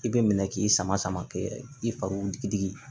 I bɛ minɛ k'i sama sama kɛ i fari digidigi